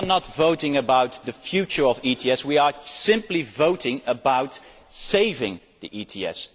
We are not voting about the future of ETS, we are simply voting about saving the ETS.